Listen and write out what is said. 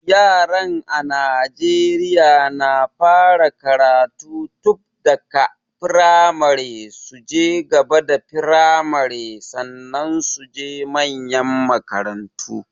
Yaran a Naijeriya na fara karatu tunbda ka firamare, su je gaba da firmare, sannan su je manyan makarantu.